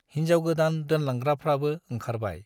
हिन्जाव गोदान दोनलांग्राफ्राबो ओंखारबाय।